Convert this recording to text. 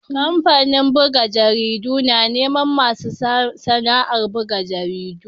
Kamfanin buga jaridu na neman masu sana'ar buga jaridu.